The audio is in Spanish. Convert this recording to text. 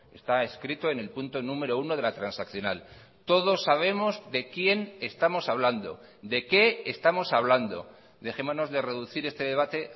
está escrito en el punto número uno de la transaccional todos sabemos de quién estamos hablando de qué estamos hablando dejémonos de reducir este debate